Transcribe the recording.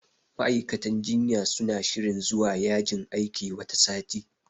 Ma'aikatan jinya suna shirin zuwa yajin aiki wata sati.